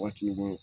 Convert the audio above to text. Waati bɛɛ